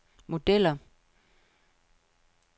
modeller